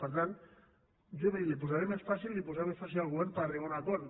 per tant jo miri li posaré més fàcil i li posaré més fàcil al govern per arribar a un acord